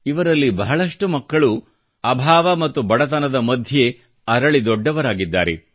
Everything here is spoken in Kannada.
ಇವರಲ್ಲಿ ಬಹಳಷ್ಟು ಮಕ್ಕಳು ಅಭಾವ ಮತ್ತು ಬಡತನದ ಮಧ್ಯೆ ಅರಳಿ ದೊಡ್ಡವರಾಗಿದ್ದಾರೆ